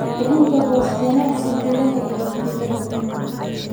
Bixinta boos ganacsi gudaha iyo dibadaba.